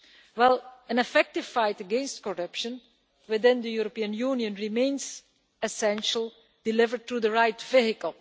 Well, an effective fight against corruption within the European Union remains essential, delivered through the right vehicle.